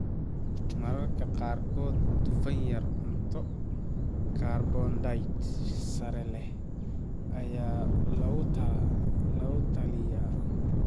Mararka qaarkood dufan yar, cunto karbohaydrayt sare leh ayaa lagula talinayaa.